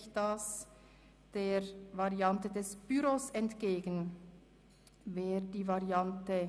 Freudiger, Langenthal [SVP] / Kohler, Spiegel b. B. [